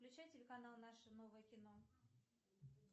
включай телеканал наше новое кино